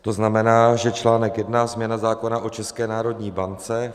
To znamená, že článek I. Změna zákona o České národní bance.